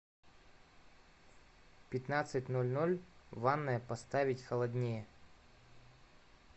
в пятнадцать ноль ноль ванная поставить холоднее